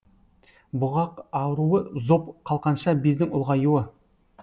бұғақ ауруы зоб қалқанша бездің ұлғаюы